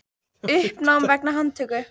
Uppnám vegna handtöku